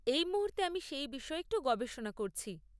এই মুহূর্তে আমি সেই বিষয়ে একটু গবেষণা করছি।